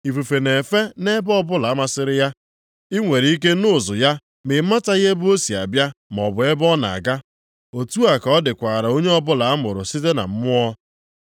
Ifufe na-efe nʼebe ọbụla masịrị ya. I nwere ike nụ ụzụ ya ma ịmataghị ebe o si abịa maọbụ ebe ọ na-aga. Otu a ka ọ dịkwara onye ọbụla a mụrụ site na Mmụọ.”